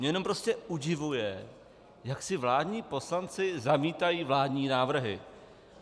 Mě jenom prostě udivuje, jak si vládní poslanci zamítají vládní návrhy.